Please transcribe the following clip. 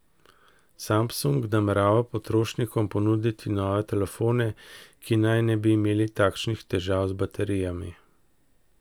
Samsung namerava potrošnikom ponuditi nove telefone, ki naj ne bi imeli takšnih težav z baterijami.